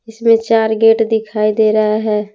इसमें चार गेट दिखाई दे रहा है।